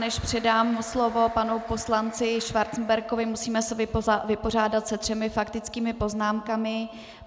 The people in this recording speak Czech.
Než předám slovo panu poslanci Schwarzenbergovi, musíme se vypořádat se třemi faktickými poznámkami.